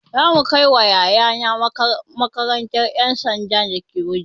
Za mu kai yaya na makarantar ƴan sandan da ke Wudil